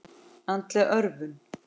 Andleg örvun.